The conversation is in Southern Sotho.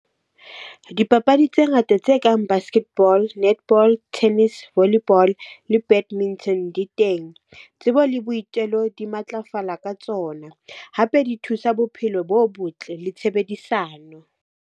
Dipapadi tse ngata tse kang basket ball, netball, tennis, volleyball, le di teng. Tsebo le boitelo di matlafala ka tsona, hape di thusa bophelo bo botle le tshebedisano.